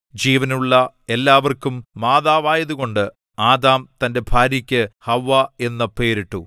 ജീവനുള്ള എല്ലാവർക്കും മാതാവായതുകൊണ്ട് ആദാം തന്റെ ഭാര്യയ്ക്കു ഹവ്വാ എന്നു പേരിട്ടു